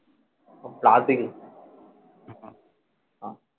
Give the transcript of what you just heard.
PUBG কি